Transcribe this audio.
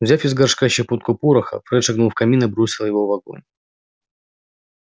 взяв из горшка щепотку пороха фред шагнул в камин и бросил его в огонь